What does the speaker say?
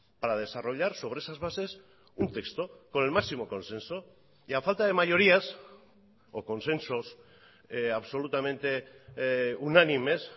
para desarrollar sobre esas bases un texto con el máximo consenso y a falta de mayorías o consensos absolutamente unánimes